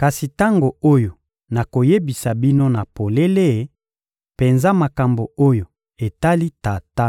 kasi tango oyo nakoyebisa bino na polele penza makambo oyo etali Tata.